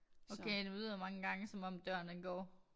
Okay det lyder mange gange som døren den går